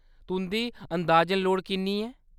तुंʼदी अंदाजन लोड़ किन्नी ऐ ?